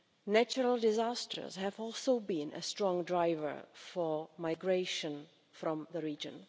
Natural disasters have also been a strong driver for migration from the region.